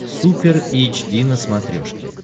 супер эйч ди на смотрешке